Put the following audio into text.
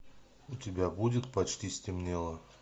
у тебя будет почти стемнело